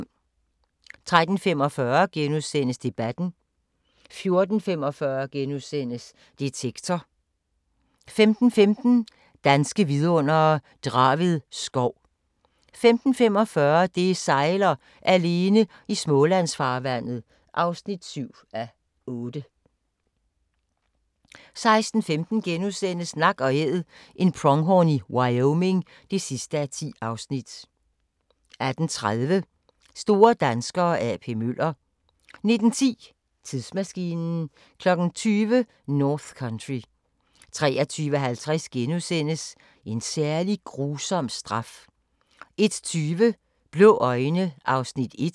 13:45: Debatten * 14:45: Detektor * 15:15: Danske Vidundere: Draved Skov 15:45: Det sejler - alene i Smålandsfarvandet (7:8) 16:15: Nak & Æd – en pronghorn i Wyoming (10:10)* 18:30: Store danskere – A.P. Møller 19:10: Tidsmaskinen 20:00: North Country 23:50: En særlig grusom straf * 01:20: Blå øjne (1:10)